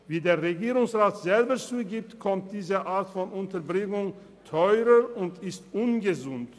Wie der Regierungsrat selber sagt, ist diese Art der Unterbringung teurer und ungesund.